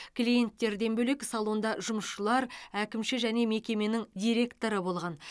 клиенттерден бөлек салонда жұмысшылар әкімші және мекеменің директоры болған